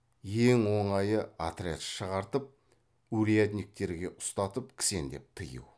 ең оңайы отряд шығартып урядниктерге ұстатып кісендеп тыю